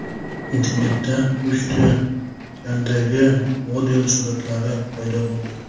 Internetda pushti rangdagi model suratlari paydo bo‘ldi.